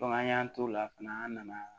an y'an t'o la fana an nana